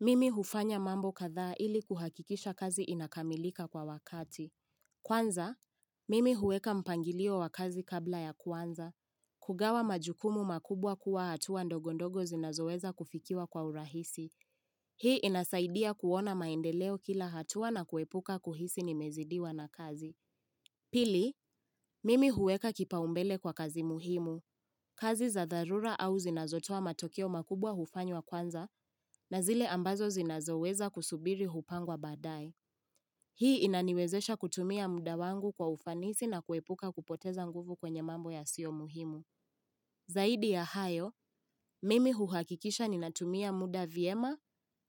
Mimi hufanya mambo kadha ili kuhakikisha kazi inakamilika kwa wakati. Kwanza, mimi huweka mpangilio wa kazi kabla ya kwanza. Kugawa majukumu makubwa kuwa hatua ndogondogo zinazoweza kufikiwa kwa urahisi. Hii inasaidia kuona maendeleo kila hatua na kuepuka kuhisi nimezidiwa na kazi. Pili, mimi huweka kipa umbele kwa kazi muhimu. Kazi za dharura au zinazotoa matokeo makubwa hufanywa kwanza na zile ambazo zinazoweza kusubiri hupangwa badai. Hii inaniwezesha kutumia muda wangu kwa ufanisi na kuepuka kupoteza nguvu kwenye mambo yasiyo muhimu. Zaidi ya hayo, mimi huhakikisha ninatumia muda vyema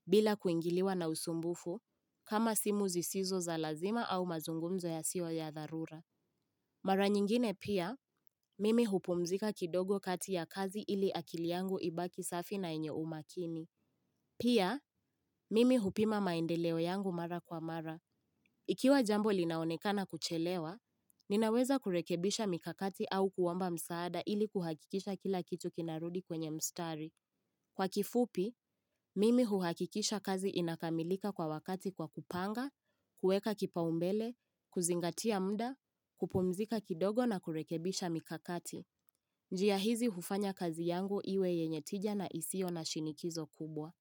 bila kuingiliwa na usumbufu kama simu zisizo za lazima au mazungumzo yasiyo ya dharura. Mara nyingine pia, mimi hupumzika kidogo kati ya kazi ili akili yangu ibaki safi na yenye umakini. Pia, mimi hupima maendeleo yangu mara kwa mara. Ikiwa jambo linaonekana kuchelewa, ninaweza kurekebisha mikakati au kuomba msaada ili kuhakikisha kila kitu kinarudi kwenye mstari. Kwa kifupi, mimi huhakikisha kazi inakamilika kwa wakati kwa kupanga, kueka kipaumbele, kuzingatia muda, kupumzika kidogo na kurekebisha mikakati. Njia hizi hufanya kazi yangu iwe yenye tija na isiyo na shinikizo kubwa.